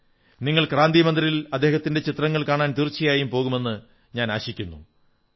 നിങ്ങൾ ക്രാന്തി മന്ദിറിൽ അദ്ദേഹത്തിന്റെ ചിത്രങ്ങൾ കാണാൻ തീർച്ചയായും പോകുമെന്നു ഞാനാശിക്കുന്നു